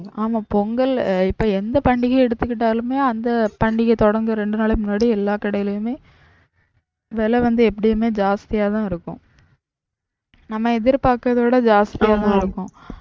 ஆமா பொங்கல் இப்ப எந்த பண்டிகை எடுத்துக்கிட்டாலுமே அந்த பண்டிகை தொடங்க ரெண்டு நாளைக்கு முன்னாடி எல்லாம் கடையிலுமே விலை வந்து எப்பவுமே ஜாஸ்தியாதான் இருக்கும் நம்ம எதிர்பாக்ககுறதோட ஜாஸ்தியாதான் இருக்கும்